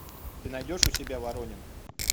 ты найдешь у себя воронины